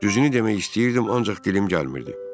Düzünü demək istəyirdim, ancaq dilim gəlmirdi.